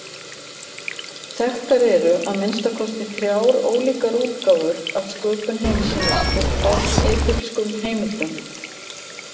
Þekktar eru að minnsta kosti þrjár ólíkar útgáfur af sköpun heimsins úr fornegypskum heimildum.